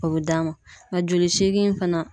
O bɛ d'a ma , nka a joli segin fana